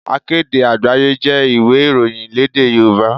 Akéde Àgbáyé jẹ́ ìwé ìròyìn lédè Yorùbá.